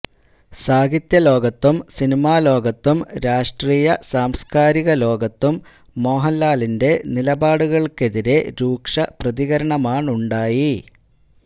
സാഹിത്യ ലോകത്തും സിനിമാലോകത്തും രാഷ്ട്രീയ സാംസ്കാരിക ലോകത്തും മോഹന്ലാലിന്റെ നിലപാടുകള്ക്കെതിരെ രൂക്ഷ പ്രതികരണമാണുണ്ടായി